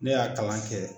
Ne y'a kalan kɛ